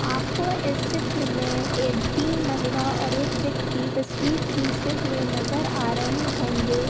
आपको इस चित्र मे ए तीन महिला और एक व्यक्ति तस्वीर खींचते हुए नजर आ रहे होंगे।